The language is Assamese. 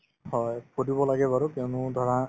হয়, ফুৰিব লাগে বাৰু কিয়নো ধৰা